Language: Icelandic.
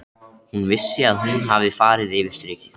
Hún vissi að hún hafði farið yfir strikið.